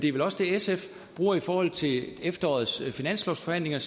er vel også det sf bruger i forhold til efterårets finanslovsforhandlinger